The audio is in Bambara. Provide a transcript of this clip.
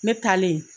Ne taalen